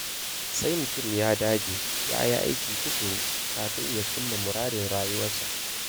Sai mutum ya dage, ya yi aiki tuƙuru, kafin ya cimma muradin rayuwarsa.